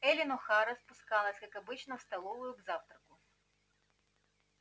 эллин охара спускалась как обычно в столовую к завтраку